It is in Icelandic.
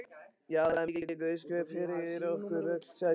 Já, það er mikil guðsgjöf fyrir okkur öll, sagði Kristín.